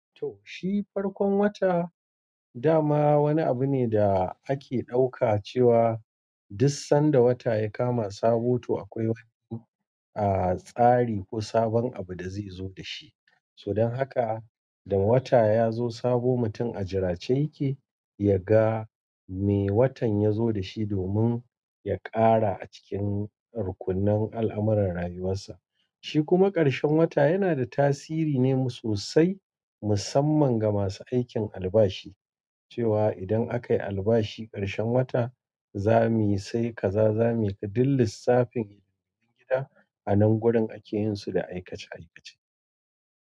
Toh, shi farkon wata dama wani abu ne da ake ɗauka cewa duk sanda wata ya kama sabo, to akwai wani, a, tsari ko sabon abu da zai zo da shi. Haka da wata yazo sabo mutum a jirace yake yaga me watan yazo dashi domin ya ƙara acikin rukunnan al'amuran rayuwarshi. Shi kuma ƙarshen wata yana da tasiri ne sosai, musamman ga masu aikin albashi, cewa idan aka yi albashi ƙarshen wata, za mi sai ka za mi ka din lissafin hidimobin gida a nan wurin ake yin su da aikace aikace.